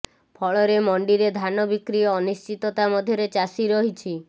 ଫଳରେ ମଣ୍ଡିରେ ଧାନ ବିକ୍ରି ଅନିଶ୍ଚିତତା ମଧ୍ୟରେ ଚାଷୀ ରହିଛି